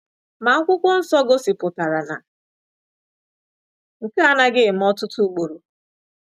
Ma akwụkwọ nsọ gosipụtara na nke a anaghị eme ọtụtụ ugboro.